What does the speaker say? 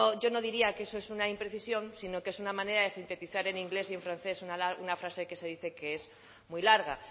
yo no diría que eso es una imprecisión sino que es una manera se sintetizar en inglés y en francés una frase que se dice que es muy larga